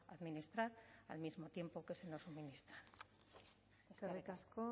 administrar al mismo tiempo que se nos suministra eskerrik asko